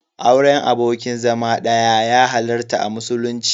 Auren abokin zama ɗaya ya halarta a musulunci.